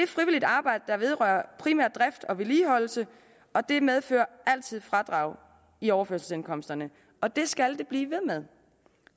frivilligt arbejde der vedrører primært drift og vedligeholdelse og det medfører altid fradrag i overførselsindkomsterne og det skal det blive ved med